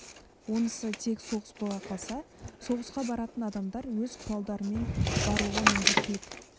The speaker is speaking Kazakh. онысы тек соғыс бола қалса соғысқа баратын адамдар өз құралдарымен баруға міндеттілік